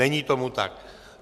Není tomu tak.